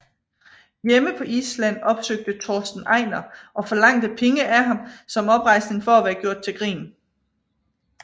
Hjemme på Island opsøgte Torsten Einar og forlangte penge af ham som oprejsning for at være gjort til grin